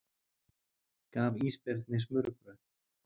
Gaf ísbirni smurbrauð